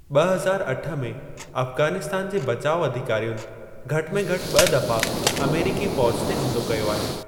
ॿ हज़ार अठ में अफगानिस्तान जे बचाउ अधिकारियुनि घटि में घटि ॿ दफ़ा अमेरिकी फ़ौज ते हमलो कयो आहे।